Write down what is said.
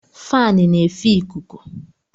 Faanụ na efe ịkụkụ